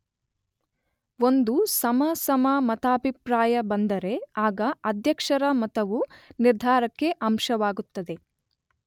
ಒಂದು ಸಮ, ಸಮ ಮತಾಭಿಪ್ರಾಯ ಬಂದರೆ ಆಗ ಅಧ್ಯಕ್ಷರ ಮತವು ನಿರ್ಧಾರಕ ಅಂಶವಾಗುತ್ತದೆ.